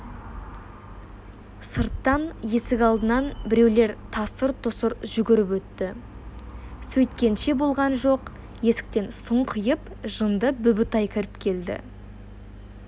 сырттан есік алдынан біреулер тасыр-тұсыр жүгіріп өтті сөйткенше болған жоқ есіктен сұңқиып жынды бүбітай кіріп келді